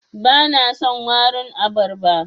Bana son warin abarba.